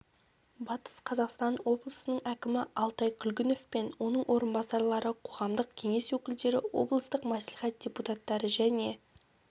батыс қазақстан облысының әкімі алтай күлгінов пен оның орынбасарлары қоғамдық кеңес өкілдері облыстық мәслихат депутаттары және